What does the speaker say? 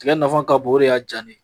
Tigɛ nafa ka bon, o de y'a ja ne ye.